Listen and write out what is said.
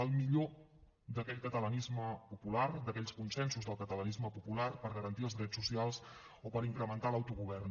el millor d’aquell catalanisme popular d’aquells consensos del catalanisme popular per garantir els drets socials o per incrementar l’autogovern